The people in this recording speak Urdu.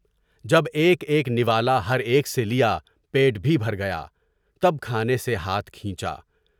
جب ایک ایک نوالہ ہر ایک سے لیا، پیٹ بھی بھر گیا، تب کھانے سے ہاتھ کھینچا ۔